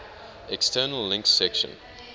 external links section